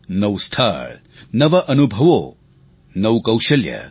નવું સ્થળ નવા અનુભવો નવું કૌશલ્ય